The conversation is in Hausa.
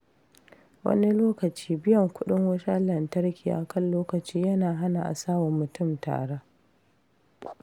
Wani lokaci, biyan kudin wutar lantarki a kan lokaci yana hana a sa wa mutum tara.